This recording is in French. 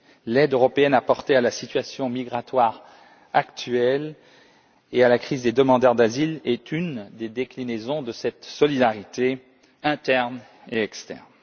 L'aide européenne apportée à la situation migratoire actuelle et à la crise des demandeurs d'asile est une des déclinaisons de cette solidarité interne et externe.